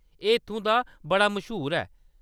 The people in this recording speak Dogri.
एह्‌‌ इत्थूं दा बड़ा मश्हूर ऐ।